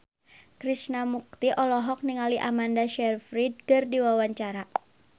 Krishna Mukti olohok ningali Amanda Sayfried keur diwawancara